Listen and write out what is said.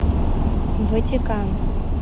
ватикан